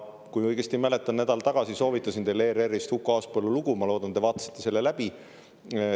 Kui õigesti mäletan, siis nädal tagasi ma soovitasin teile ERR-ist Huko Aaspõllu lugu, ma loodan, et te vaatasite selle läbi.